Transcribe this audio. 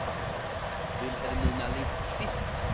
Vilhelmina Lindkvist